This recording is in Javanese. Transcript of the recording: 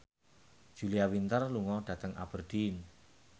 Julia Winter lunga dhateng Aberdeen